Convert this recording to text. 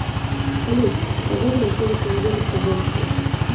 салют погода на следующей неделе в тобольске